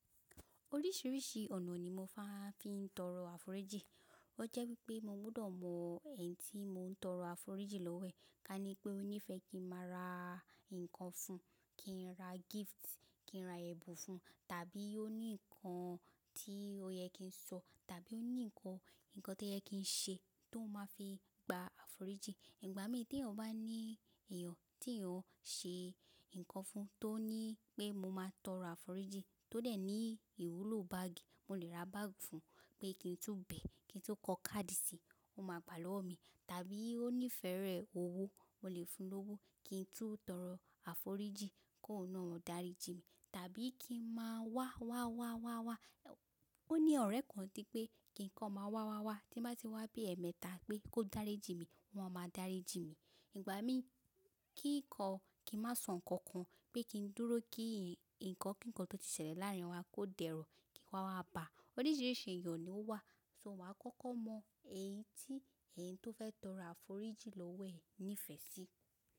Oríṣìíríṣìí ọ̀nà ni mo máa ń fi ń tọrọ àforíjì. Ó jẹ́ wípé mo gbudọ̀ mọ ẹni tí mò tọrọ àforíjì lọ́wo ẹ̀. Ká ní pé ó nífẹ̀ẹ́ kí n máa ra nǹkan fun, kí n ra gift, kí n ra ẹ̀bùn fun, tàbí ó ní nǹkan tí ó yẹ kí n sọ tàbí ó ní nǹkan, nǹkan tó yẹ kí n ṣe tó máa fi gba àforíjì. Ìgbà mí tí èèyàn bá ní ẹ̀yàn tí eyan ṣe nǹkan fun tó ní pé mo máa tọrọ àforíjì tó dẹ̀ ní ìwúlò báàgì, mo le ra báàgì fun pé kí n tó bẹ̀ ẹ́, kí n tó kọ káàdì sí, ó máa gbà lọ́wọ́ mi. Tàbí ó nífẹ̀ẹ́ rẹ̀ owó, mo lè fun ló owó kí n tún tọrọ àforíjì kó óun náà darí ji mí. Tàbí kí ń máa wá wá wá wá wá. Ó ní ọ̀rẹ́ kan ti pé kí nǹkan máa wá wá wá tí bá ti wá bí ẹ̀ẹ̀mẹta pé kó dáré ji mí, o máa máa dári ji mí. Ìgbà mí kí nǹkan kí n má sọ nǹkan kan pé kí n dúró kí nǹkan kí nǹkan tó ti ṣẹlẹ̀ láàrin wa kó dẹrọ̀ kí wa wá bà. Oríṣìíríṣìí èèyàn ni ó wà, só wa kọ́kọ́ mọ ẹni tí ẹni tó fẹ́ tọrọ àforíjì lọ́wẹ̀ nífẹ̀ẹ́ sí.